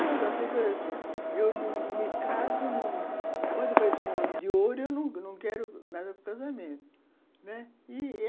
A pessoa dizia assim, eu não me caso, num, pode aparecer um homem de ouro e eu não quero nada com casamento, né. Ih